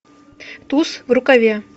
туз в рукаве